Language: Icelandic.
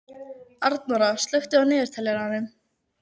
Arnóra, slökktu á niðurteljaranum.